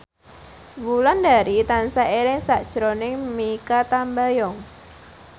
Wulandari tansah eling sakjroning Mikha Tambayong